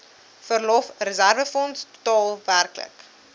verlofreserwefonds totaal werklik